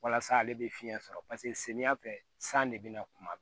Walasa ale bɛ fiɲɛ sɔrɔ paseke samiya fɛ san de bɛ na kuma bɛɛ